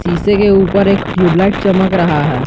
शीशे के ऊपर एक ट्यूबलाइट चमक रहा है।